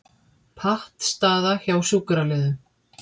Pattstaða hjá sjúkraliðum